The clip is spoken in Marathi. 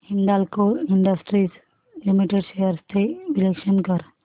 हिंदाल्को इंडस्ट्रीज लिमिटेड शेअर्स चे विश्लेषण कर